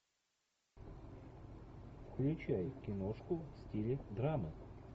включай киношку в стиле драма